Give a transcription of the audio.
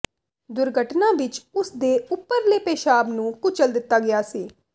ਦੁਰਘਟਨਾ ਵਿੱਚ ਉਸ ਦੇ ਉਪਰਲੇ ਪੇਸ਼ਾਬ ਨੂੰ ਕੁਚਲ ਦਿੱਤਾ ਗਿਆ ਸੀ